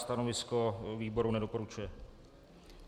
Stanovisko výboru: nedoporučuje.